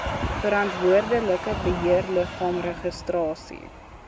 verantwoordelike beheerliggaam registrasie